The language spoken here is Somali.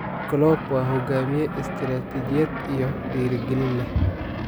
Klopp waa hogaamiye, istiraatijiyad iyo dhiirigelin leh.